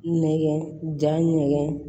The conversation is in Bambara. Nɛgɛn jankɛ